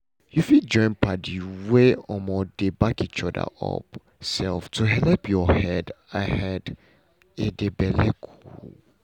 you fit join padi dem wey um dey back each other um to helep your head a head a d belle cool